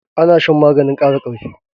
Ana shan maganin kara karfi